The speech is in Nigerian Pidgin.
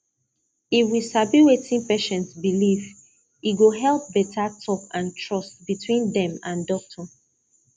if we sabi wetin patient believe e go help better talk and trust between dem and doctor